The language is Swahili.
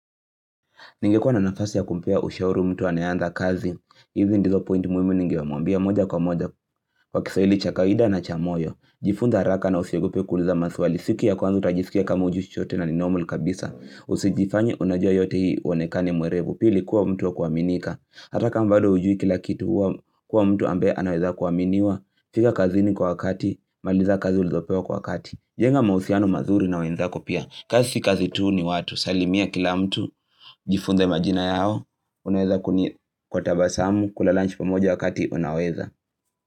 Ningekuwa na nafasi ya kumpea ushauri mtu anayeanza kazi. Hizi ndizo pointi muhimu ningemwambia moja kwa moja. Kwa kiswahili cha kawida na cha moyo. Jifunze haraka na usiogope kuuliza maswali. Siku ya kwanza utajisikia kama hujui chochote na ni normal kabisa. Usijifanye unajua yote ili uonekane mwerevu. Pili kuwa mtu wa kuaminika. Ata kama bado hujui kila kitu kuwa mtu ambaye anaeza kuaminiwa. Fika kazini kwa wakati. Maliza kazi ulizopewa kwa wakati. Jenga mahusiano mazuri na wenzako pia kazi si kazi tu ni watu Salimia kila mtu Jifunze majina yao Unaweza kuni kwa tabasamu, kula lunch pamoja wakati unaweza.